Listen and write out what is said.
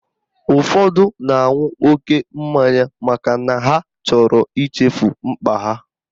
Ụfọdụ na-aṅụ oke mmanya makana ha chọrọ ichefu mkpa ha